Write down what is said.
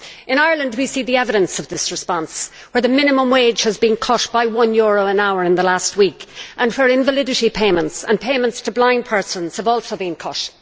In Ireland we see the evidence of this response, where the minimum wage has been cut by one euro an hour in the last week, and where invalidity payments and payments to blind persons have also been cut.